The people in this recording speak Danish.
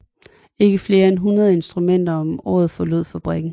Ikke flere end 100 instrumenter om året forlod fabrikken